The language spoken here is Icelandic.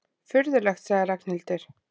Furðulegt sagði Ragnhildur.